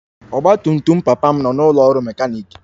Ọgba tum tum papa m nọ n'ụlọ ọrụ mekaniiki